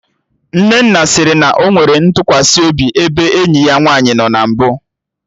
Nnenna sịrị na ọ nwere ntụkwasị obi ebe enyi ya nwaanyị nọ na mbụ